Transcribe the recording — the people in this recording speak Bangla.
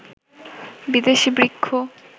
বিদেশি বৃক্ষ